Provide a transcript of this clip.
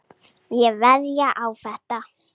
Ég veðjaði á þetta.